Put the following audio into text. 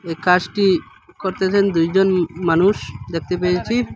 এই কাসটি করতেসেন দুইজন মা-মানুষ দেখতে পেয়েছি।